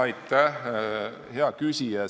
Aitäh, hea küsija!